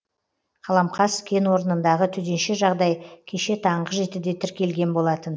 қаламқас кенорнындағы төтенше жағдай кеше таңғы жетіде тіркелген болатын